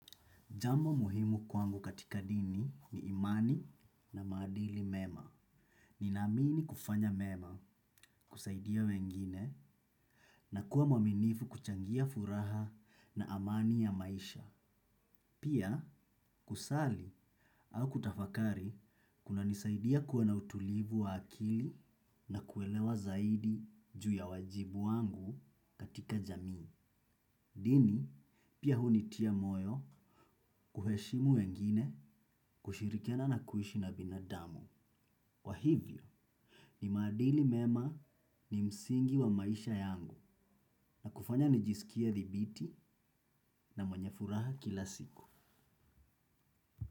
Jambo muhimu kwangu katika dini ni imani na maadili mema. Nina amini kufanya mema kusaidia wengine na kuwa mwaminifu kuchangia furaha na amani ya maisha. Pia kusali au kutafakari kuna nisaidia kuwa na utulivu wa akili na kuelewa zaidi juu ya wajibu wangu katika jamii. Dini, pia hunitia moyo kuheshimu wengine kushirikiana na kuishi na binadamu. Kwa hivyo, ni maadili mema ni msingi wa maisha yangu na kufanya nijisikie dhibiti na mwanye furaha kila siku.